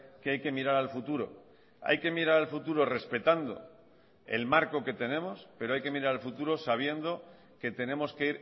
que hay que mirar al futuro hay que mirar al futuro respetando el marco que tenemos pero hay que mirar al futuro sabiendo que tenemos que